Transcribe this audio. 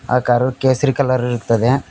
ಆ ಕಾರು ಕೇಸರಿ ಕಲರ್ ಇರ್ತ್ತದೆ.